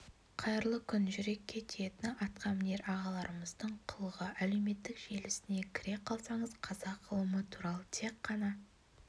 қайырлы күн жүрекке тиетіні атқа мінер ағаларымыздың қылығы әлеуметтік желісіне кіре қалсаңыз қазақ ғылымы туралы тек қана